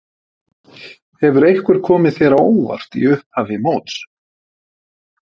Hefur eitthvað komið þér á óvart í upphafi móts?